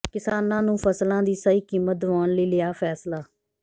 ਕਿਸਾਨਾਂ ਨੂੰ ਫ਼ਸਲਾਂ ਦੀ ਸਹੀ ਕੀਮਤ ਦਿਵਾਉਣ ਲਈ ਲਿਆ ਫ਼ੈਸਲਾ